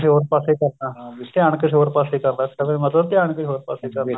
ਕਿਸੇ ਹੋਰ ਪਾਸੇ ਕਰਨਾ ਧਿਆਨ ਕਿਸੇ ਹ਼ੋਰ ਪਾਸੇ ਕਰਨਾ ਇਸਦਾ ਮਤਲਬ ਧਿਆਨ ਕਿਸੇ ਹੋਰ ਪਾਸੇ ਕਰਨਾ